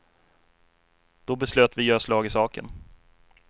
Då beslöt vi göra slag i saken.